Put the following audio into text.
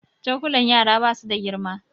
Cokulan yara ba su da girma